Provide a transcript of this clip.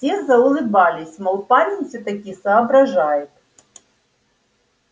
все заулыбались мол парень всё-таки соображает